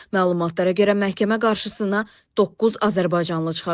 Məlumatlara görə məhkəmə qarşısına doqquz azərbaycanlı çıxarılacaq.